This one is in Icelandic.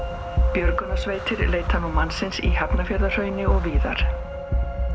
björgunarsveitir leita nú mannsins í Hafnarfjarðarhrauni og víðar